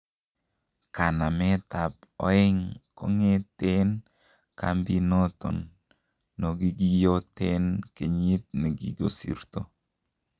Kanamet ab ooeng' kongeteen kambinoton nogigiyoten keyiit negigosirto.